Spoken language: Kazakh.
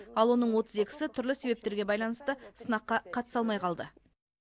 ал оның отыз екісі түрлі себептерге байланысты сынаққа қатыса алмай қалды